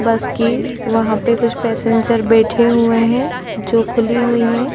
बस की वहाँ पे कुछ पैसेंजर बैठे हुए है जो खुली हुई है।